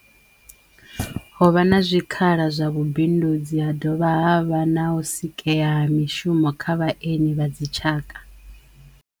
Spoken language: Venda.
Ho vha na zwikhala zwa vhubindudzi ha dovha havha na u sikeya ha mishumo kha vhaeni vha dzi tshaka.